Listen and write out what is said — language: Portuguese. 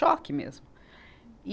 Choque mesmo. e